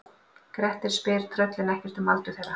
Grettir spyr tröllin ekkert um aldur þeirra.